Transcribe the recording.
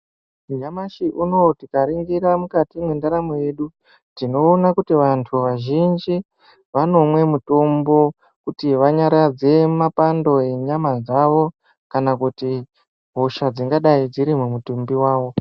Nyamashi unowu tikaringira mukati mwendaramo yedu tinoona kuti vantu vazhinji vanomwe mutombo kuti vanyaradze mapando enyama dzawo kana kuti hosha dzingadai dziri mumutumbi wawo.